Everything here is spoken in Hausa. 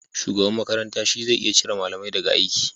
Shugaban makaranta shi zai iya cire malamai da ga aiki